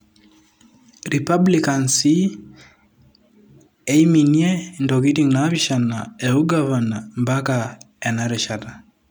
Republicans sii eiminie ntokitin napishana e Ugavana ompaka ena rishata.